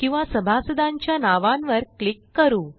किंवा सभासदांच्या नावांवर क्लिक करू